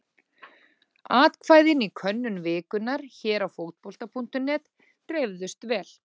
Atkvæðin í könnun vikunnar hér á Fótbolta.net dreifðust vel.